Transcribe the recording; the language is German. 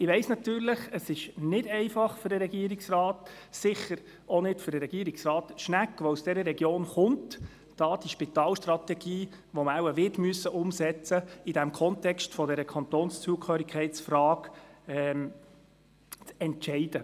Ich weiss natürlich, dass es für den Regierungsrat nicht einfach ist, und sicher auch nicht für Regierungsrat Schnegg, der aus dieser Region stammt, die Spitalstrategie, die man wohl wird umsetzen müssen, im Kontext der Kantonszugehörigkeitsfrage umzusetzen.